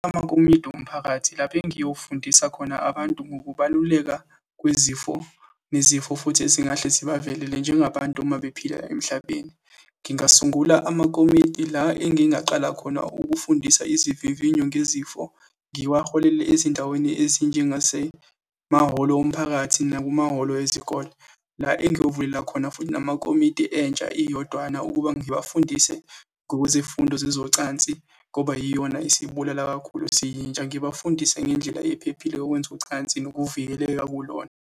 Amakomidi omphakathi lapho engiyofundisa khona abantu ngokubaluleka kwezifo, nezifo futhi ezingahle zibavelele njengabantu uma bephila emhlabeni. Ngingasungula amakomidi la engingaqala khona ukufundisa izivivinyo ngezifo, ngiwaholele ezindaweni ezinjengasemahholo omphakathi nakumahholo ezikole, la engiyovulela khona futhi namakomiti entsha iyodwana, ukuba ngiwafundise ngokwezifundo zezocansi, ngoba yiyona esibulala kakhulu siyintsha, ngibafundise ngendlela ephephile yokwenza ucansi nokuvikeleka kulona.